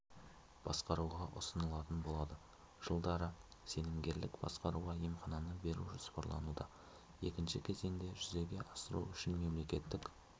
басқаруға ұсынылатын болады жылдары сенімгерлік басқаруға емхананы беру жоспарлануда екінші кезеңді жүзеге асыру үшін мемлекеттік